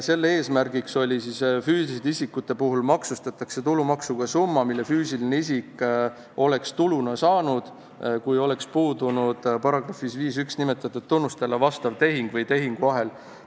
Eesmärk oli see, et füüsiliste isikute puhul maksustatakse tulumaksuga summa, mille füüsiline isik oleks tuluna saanud, kui oleks puudunud §-s 51 nimetatud tunnustele vastav tehing või tehinguahel.